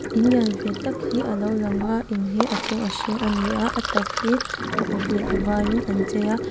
in lian ve tak hi a lo lang a in hi a chung a hring a ni a a tak hi a uk leh a varin an chei a--